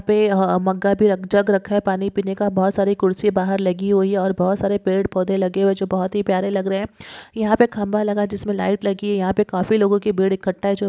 यहाँ पे मग्गा भी जग रखा है पानी पिने का बहुत सारी कुर्सी बाहर लगी हुई है और बोहोत सारे पेड़ पौधे लगे हुए है जो बहुत ही प्यारे लग रहे है यहाँ पे खंबा लगा जिसमे लाइट लगी है यहाँ पे काफी लोगो की भीड ईकठा है जो--